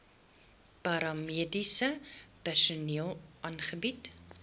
paramediese personeel aangebied